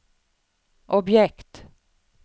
objekt